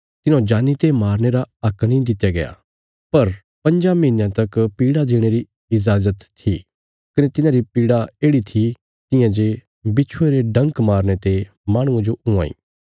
तिन्हौं जानी ते मारने रा हक नीं दित्या गया पर पंज्जां महीनयाँ तक पीड़ा देणे री इजाज़त थी कने तिन्हांरी पीड़ा येढ़ि थी तियां जे बिच्छुये रे ढंक मारने ते माहणुये जो हुआं इ